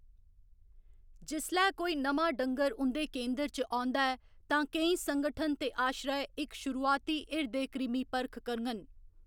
जिसलै कोई नमां डंगर उं'दे केंदर च औंदा ऐ तां केईं संगठन ते आश्रय इक शुरुआती हिरदे कृमि परख करङन।